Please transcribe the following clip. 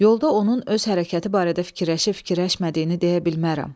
Yolda onun öz hərəkəti barədə fikirləşib-fikirləşmədiyini deyə bilmərəm.